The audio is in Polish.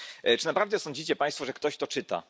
Czy naprawdę sądzą Państwo, że ktoś to czyta?